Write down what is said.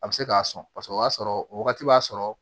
A bɛ se k'a sɔn paseke o y'a sɔrɔ o wagati b'a sɔrɔ